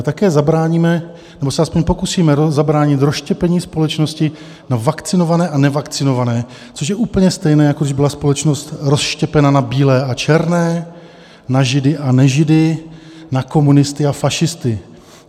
A také zabráníme, anebo se aspoň pokusíme zabránit, rozštěpení společnosti na vakcinované a nevakcinované, což je úplně stejné, jako když byla společnost rozštěpena na bílé a černé, na židy a nežidy, na komunisty a fašisty.